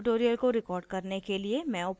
इस tutorial को record करने के लिए मैं उपयोग कर रही हूँ